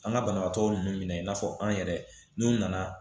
An ka banabaatɔ ninnu minɛ i n'a fɔ an yɛrɛ n'u nana